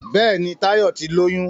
Béèni Tayo tí lóyún.